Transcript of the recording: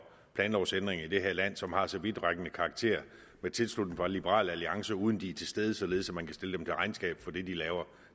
planlovsændringer i det her land som har så vidtrækkende karakter med tilslutning fra liberal alliance uden at de er til stede således at man kan stille dem til regnskab for det de laver